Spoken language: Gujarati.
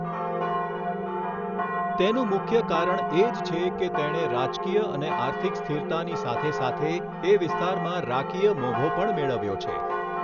તેનું મુખ્ય કારણ એ જ છે કે તેણે રાજકીય અને આર્થિક સ્થિરતાની સાથેસાથે એ વિસ્તારમાં રાકીય મોભો પણ મેળવ્યો છે.